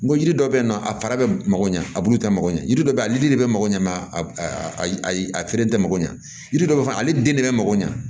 N ko yiri dɔ bɛ yen nɔ a fara bɛ mako ɲɛ a bulu tɛ mako ɲɛ yiri dɔ bɛ yen ale de bɛ mako ɲɛ ayi a feere tɛ mako ɲɛ yiri dɔ bɛ fɔ ale den de bɛ mako ɲɛ